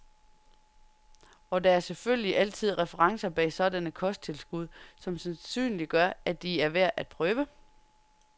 Og der er selvfølgelig altid referencer bag sådanne kosttilskud, som sandsynliggør, at de er værd af prøve.